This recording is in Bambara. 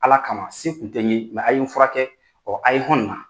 Ala kama se tun tɛ n ye a' ye n fura kɛ a' ye hɔn nin na.